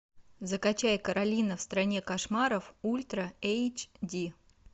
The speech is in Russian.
закачай каролина в стране кошмаров ультра эйч ди